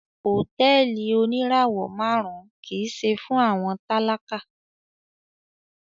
Hotẹẹli onirawọ màrun kii ṣe fun awọn talaka